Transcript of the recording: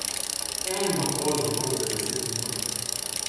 Eno kozo molze deset minut.